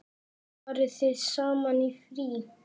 Farið þið saman í frí?